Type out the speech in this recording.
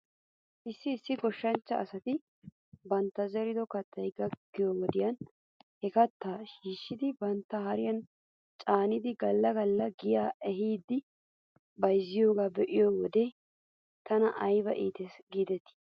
Issi issi goshshanchcha asati bantta zerido katay gakkiyoo wodiyan he kattaa shhiishidi bantta hariyan caanidi gala gala giyaa ehidi bayzziyoogaa be'iyoo wode tana ayba iites giidetii